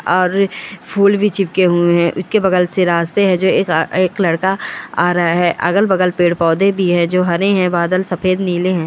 और फूल भी चिपके हुए हैं उसके बगल से रास्ते हैं जो एक अ एक लड़का आ रहा है अगल-बगल पेड़ पौधे भी है जो हने हैं बादल सफ़ेद नीले हैं।